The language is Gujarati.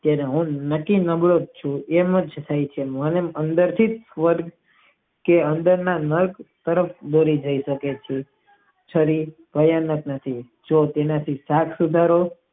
મન અંદર થી જ સ્વર્ગ કે અંદર ના છરી કાયજ જ નથી જેમ શાક સુધારો.